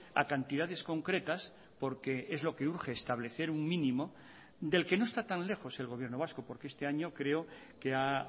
a cantidades concretas porque es lo que urge establecer un mínimo del que no está tan lejos el gobierno vasco porque este año creo que ha